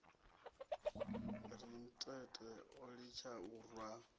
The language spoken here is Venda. rantete o litsha u rwa